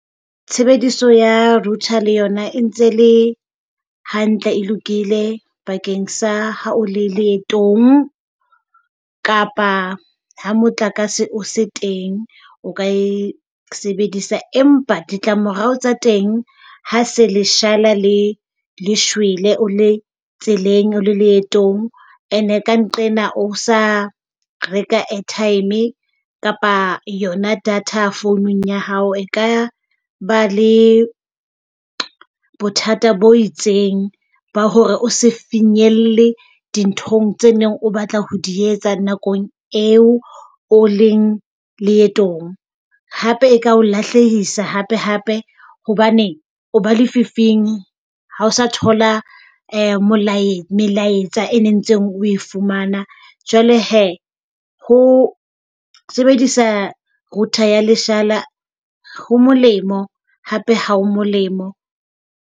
Tshebediso ya router le yona e ntse le hantle e lokile bakeng sa ha o le leetong kapa ha motlakase o se teng o ka e sebedisa, empa ditlamorao tsa teng ha se leshala, le le shwele, o le tseleng o le leetong. And e ka nqena o sa reka airtime kapa yona data founung ya hao e ka ba le bothata bo itseng ba hore o se finyelle dinthong tse neng o batla ho di etsa nakong eo o leng leetong. Hape e ka lahlehisa hape hape hobane o ba lefifing ha o sa thola melaetsa e ne ntseng o e fumana Jwale he, ho sebedisa router ya leshala, ho molemo hape ha ho molemo.